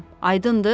Aydındır?